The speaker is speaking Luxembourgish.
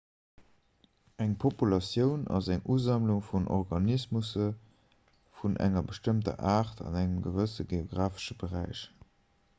eng populatioun ass eng usammlung vun organismusse vun enger bestëmmter aart an engem gewësse geografesche beräich